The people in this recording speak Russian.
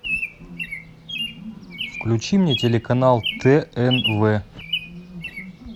включи мне телеканал тнв